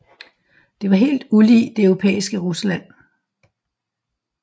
Det var helt ulig det europæiske Rusland